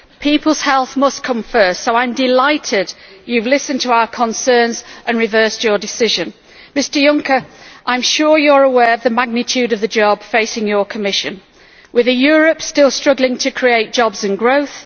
People's health must come first, so I am delighted that you have listened to our concerns and reversed your decision. Mr Juncker, I am sure you are aware of the magnitude of the job facing your Commission with a Europe still struggling to create jobs and growth